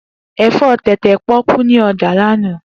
Efo tete poku ni oja lana.